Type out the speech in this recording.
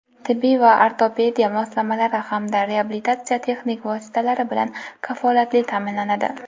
tibbiy va ortopediya moslamalari hamda reabilitatsiya texnik vositalari bilan kafolatli ta’minlanadi;.